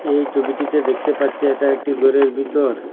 এই ছবিটিতে দেখতে পাচ্ছি এটা একটি ঘরের ভিতর।